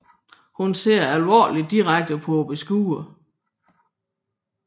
Hun ser alvorligt direkte på beskueren